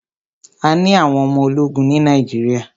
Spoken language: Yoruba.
A ní àwọn ọmọ ológun ní Nàíjíríà.